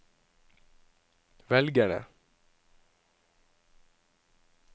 velgerne